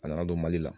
A nana don mali la